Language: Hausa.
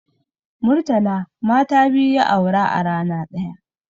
Murtala mata biyu ya aura a rana ɗaya